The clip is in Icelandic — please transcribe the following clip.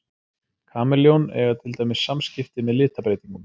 Kameljón eiga til dæmis samskipti með litabreytingum.